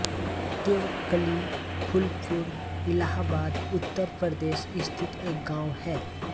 तेवकली फूलपुर इलाहाबाद उत्तर प्रदेश स्थित एक गाँव है